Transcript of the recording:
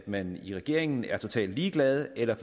man i regeringen er totalt ligeglad eller